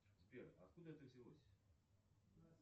сбер а откуда это взялось